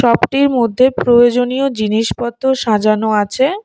শপটির মধ্যে প্রয়োজনীয় জিনিসপত্র সাজানো আছে।